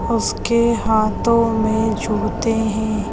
उसके हाथों में जूते है।